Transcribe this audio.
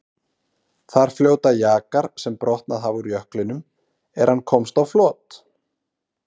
Þar fljóta jakar sem brotnað hafa úr jöklinum er hann komst á flot.